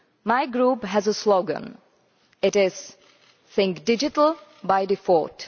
My Group has a slogan Think digital by default'.